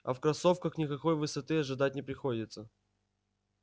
а в кроссовках никакой высоты ожидать не приходится